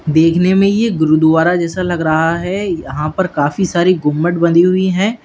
देखने में ये गुरुद्वारा जैसा लग रहा है यहां पर काफी सारी घूमबद बनी हुई हैं।